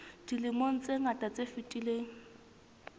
dilemong tse ngata tse fetileng